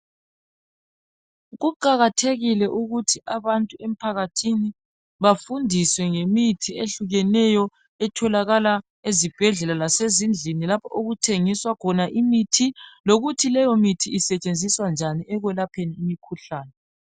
Kuqakathekile ukuthi abantu emphakathini bafundiswe ngemithi ehlukeneyo. Etholakala ezibhedlela lasezindlini lapho okuthengiswa khona imithi. Lokuthi leyo mithi isetshenziswa njani ekwelapheni imikhuhlane.